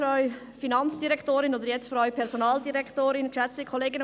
Nun bin ich ein wenig verwirrt durch das Votum von Grossrat Etter.